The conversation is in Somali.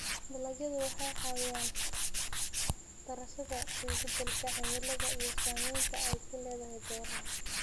Dalagyadu waxay caawiyaan daraasadda isbeddelka cimilada iyo saamaynta ay ku leedahay beeraha.